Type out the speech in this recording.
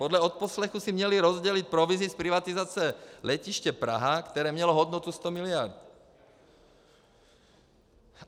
Podle odposlechů si měli rozdělit provizi z privatizace Letiště Praha, které mělo hodnotu 100 miliard.